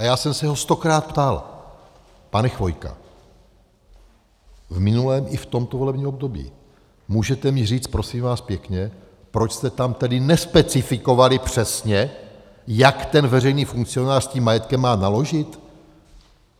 A já jsem se ho stokrát ptal: Pane Chvojko - v minulém i v tomto volebním období - můžete mi říct prosím vás pěkně, proč jste tam tedy nespecifikovali přesně, jak ten veřejný funkcionář s tím majetkem má naložit?